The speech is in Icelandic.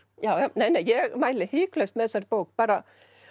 nei nei ég mæli hiklaust með þessari bók bara